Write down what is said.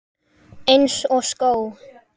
Eins og skó.